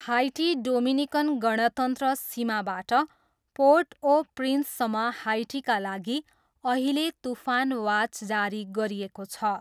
High tea Dominican गणतन्त्र सीमाबाट Port au प्रिन्ससम्म हाइटीका लागि अहिले तुफान वाच जारी गरिएको छ।